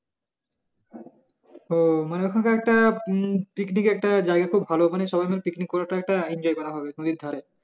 ও মানে ওখানে একটা পিকনিকের একটা জায়গা খুব ভালো মানে সবাই মিলে পিকনিক করার একটা enjoy করা হবে নদীর ধারে